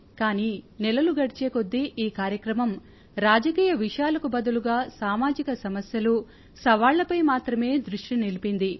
కానీ నెలలు గడిచేకొద్దీ ఈ కార్యక్రమం రాజకీయ విషయాలకు బదులుగా సామాజిక సమస్యలు సవాళ్ళపై మాత్రమే దృష్టిని నిలిపింది